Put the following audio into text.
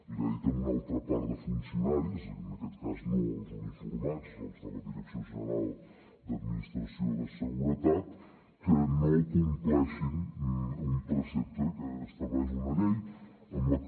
li ha dit a una altra part de funcionaris en aquest cas no als uniformats als de la direcció general d’administració de seguretat que no compleixin un precepte que estableix una llei amb la que